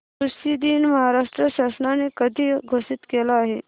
कृषि दिन महाराष्ट्र शासनाने कधी घोषित केला आहे